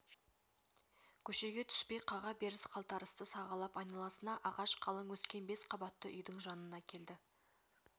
көшеге түспей қаға беріс-қалтарысты сағалап айналасына ағаш қалың өскен бес қабатты үйдің жанына келді